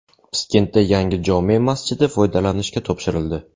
Piskentda yangi jome masjidi foydalanishga topshirildi .